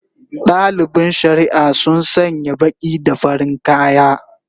Dalibin shari'a sun sanya baki da farin kaya